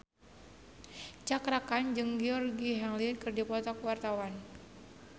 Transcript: Cakra Khan jeung Georgie Henley keur dipoto ku wartawan